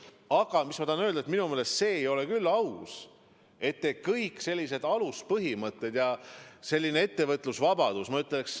Aga mida ma tahan öelda: minu meelest see ei ole küll aus, et te hülgate sellise aluspõhimõtte nagu ettevõtlusvabadus.